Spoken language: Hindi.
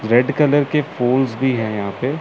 रेड कलर के फूल्स भी हैं यहां पे।